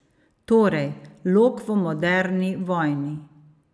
Torej, lok v moderni vojni?